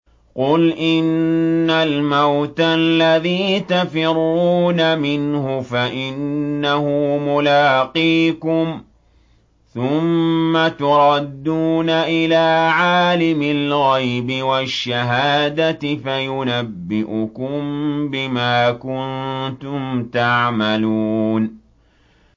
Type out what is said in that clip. قُلْ إِنَّ الْمَوْتَ الَّذِي تَفِرُّونَ مِنْهُ فَإِنَّهُ مُلَاقِيكُمْ ۖ ثُمَّ تُرَدُّونَ إِلَىٰ عَالِمِ الْغَيْبِ وَالشَّهَادَةِ فَيُنَبِّئُكُم بِمَا كُنتُمْ تَعْمَلُونَ